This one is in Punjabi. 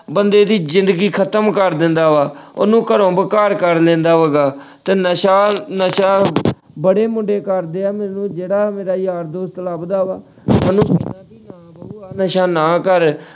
ਬੰਦੇ ਦੀ ਜ਼ਿੰਦਗੀ ਖ਼ਤਮ ਕਰ ਦਿੰਦਾ ਵਾ ਉਹਨੂੰ ਘਰੋਂ ਬੇ-ਘਰ ਕਰ ਦਿੰਦਾ ਵਾ ਗਾ ਤੇ ਨਸ਼ਾ ਨਸ਼ਾ ਬੜੇ ਮੁੰਡੇ ਕਰਦੇ ਹਨ ਜਿਹੜਾ ਮੇਰਾ ਯਾਰ ਦੋਸਤ ਲੱਭਦਾ ਵਾ ਮੈਂ ਉਹਨੂੰ ਕਹਿਣਾ ਵੀ ਅਹ ਨਸ਼ਾ ਨਾ ਕਰ।